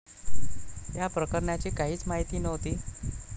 या प्रकरणाची काहीच माहिती नव्हती.